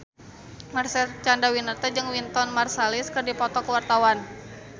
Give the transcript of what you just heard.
Marcel Chandrawinata jeung Wynton Marsalis keur dipoto ku wartawan